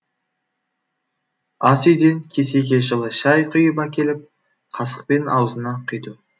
ас үйден кесеге жылы шай құйып әкеліп қасықпен аузына құйды